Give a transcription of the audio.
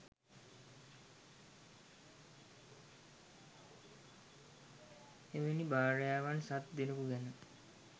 එවැනි භාර්යාවන් සත් දෙනෙකු ගැන